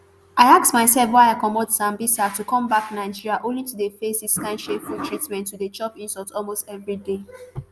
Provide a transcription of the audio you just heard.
i ask myself why i comot sambisa to come back nigeria only to dey face dis kain shameful treatment to dey chop insult almost evriday